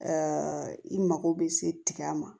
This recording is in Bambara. i mago bɛ se tiga ma